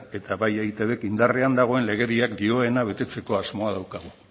eta bai eitbk indarrean dagoen legediak dioena betetzeko asmoa daukagu